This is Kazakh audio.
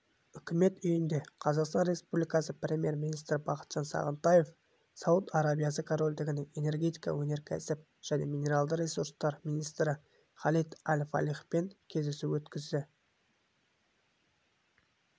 үкімет үйінде қазақстан республикасы премьер-министрі бақытжан сағынтаев сауд арабиясы корольдігінің энергетика өнеркәсіп және минералды ресурстар министрі халид әл-фалихпен кездесу өткізді